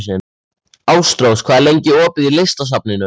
Ástrós, hvað er lengi opið í Listasafninu?